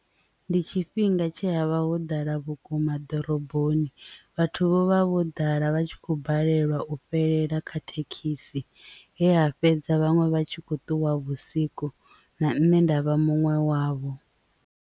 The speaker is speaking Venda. Ndi tshifhinga tshe ha vha ho ḓala vhukuma ḓoroboni vhathu vho vha vho ḓala vhatshi kho balelwa u fhelela kha thekhisi he ra fhedza vhaṅwe vha tshi kho ṱuwa vhusiku na nne nda vha muṅwe wavho.